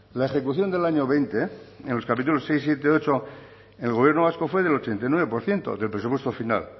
la ejecución del año veinte en los capítulos seis siete ocho el gobierno vasco fue del ochenta y nueve por ciento del presupuesto final